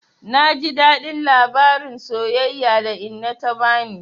Na ji daɗin labarin soyayya da inna ta bani.